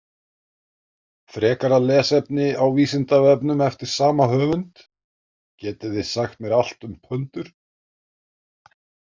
Frekara lesefni á Vísindavefnum eftir sama höfund: Getið þið sagt mér allt um pöndur?